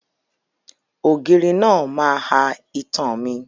Ògiri náà máa ha itan mi.